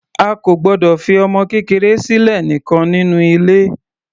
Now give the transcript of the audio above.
A kò gbọdọ̀ fi ọmọ kékeré sílẹ̀ nìkan nínú ilé.